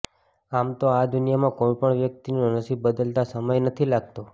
આમ તો આ દુનિયામાં કોઈપણ વ્યક્તિનું નસીબ બદલાતા સમય નથી લાગતો